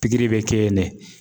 bɛ kɛ yen de.